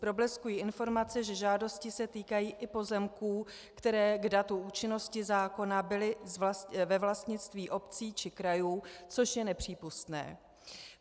Probleskují informace, že žádosti se týkají i pozemků, které k datu účinnosti zákona byly ve vlastnictví obcí či krajů, což je nepřípustné.